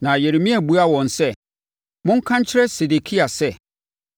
Na Yeremia buaa wɔn sɛ, “Monka nkyerɛ Sedekia sɛ,